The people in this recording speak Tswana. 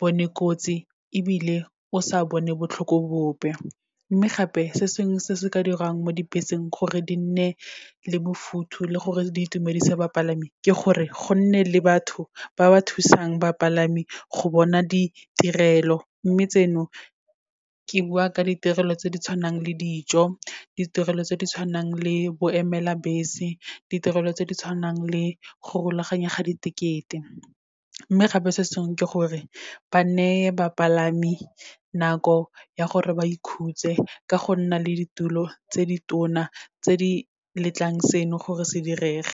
bone kotsi ebile o sa bone botlhoko bope. Mme gape, se sengwe se se ka dirang mo dibeseng gore di nne le bofuthu le gore di itumedisa bapalami, ke gore go nne le batho ba ba thusang bapalami go bona ditirelo, mme tseno ke bua ka ditirelo tse di tshwanang le dijo, ditirelo tse di tshwanang le bo emela bese, ditirelo tse di tshwanang le go rulaganya ga ditekete. Mme gape se sengwe, ke gore ba neye bapalami nako ya gore ba ikhutse, ka go nna le ditulo tse di tona tse di letlang seno gore se direge.